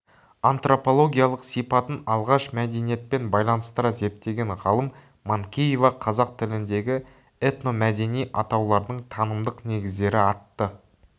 антропологиялық сипатын алғаш мәдениетпен байланыстыра зерттеген ғалым манкеева қазақ тіліндегі этномәдени атаулардың танымдық негіздері атты